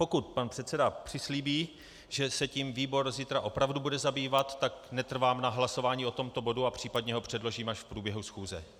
Pokud pan předseda přislíbí, že se tím výbor zítra opravdu bude zabývat, tak netrvám na hlasování o tomto bodu a případně ho předložím až v průběhu schůze.